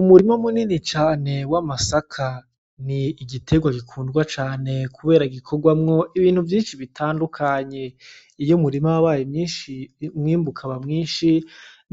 Umurima munini cane w'amasaka . Ni igiterwa gikundwa cane kubera gikorwamwo ibintu vyinshi bitandukanye . Iy'umurima wabaye mwinshi , umwimbu ukaba mwinshi